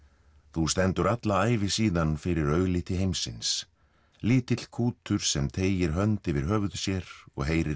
þú stendur alla ævi síðan fyrir augliti heimsins lítill kútur sem teygir hönd yfir höfuð sér og heyrir